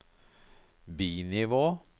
bi-nivå